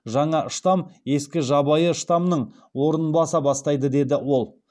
жаңа штамм ескі жабайы штаммның орнын баса бастайды деді ол